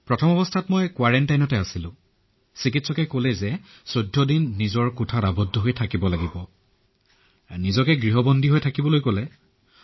পৰিয়ালৰ বাবেতোযেতিয়া মই কোৱাৰেণ্টাইনত আছিলো কিন্তু কোৱাৰেণ্টাইনৰ পিছতো চিকিৎসকে কৈছিল যে আৰু ১৪ দিনৰ বাবে মই ঘৰতেই থাকিব লাগিব আৰু নিজকে ঘৰতে কোৱাৰেইণ্টাইনত থাকিবলৈ কৈছিল